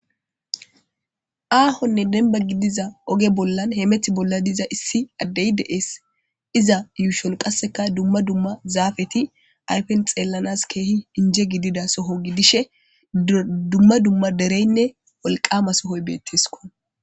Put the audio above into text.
Aahonne denba gidiza oge bollan hemeti bolla diza issi addey de7ees iza yuushon qasseka dumma dumma zaafeti ayfen xeellanas keehi inje gidida soho gidishe dumma dumma dereynne wolqama sohoy beettesko